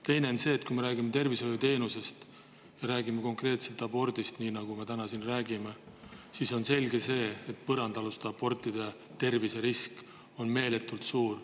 Teine asi on see, et kui me räägime tervishoiuteenusest ja konkreetselt abordist, nagu me siin teeme, siis on selge, et põrandaaluste abortide terviserisk on meeletult suur.